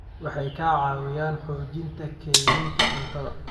Waxay ka caawiyaan xoojinta kaydinta cuntada.